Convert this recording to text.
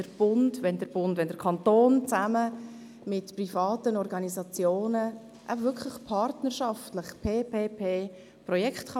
Wir begrüssen es, wenn der Kanton zusammen mit privaten Organisationen partnerschaftlich Projekte ausführen kann.